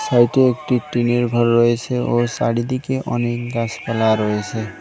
সাইডে একটি টিনের ঘর রয়েছে ও চারিদিকে অনেক গাছপালা রয়েছে।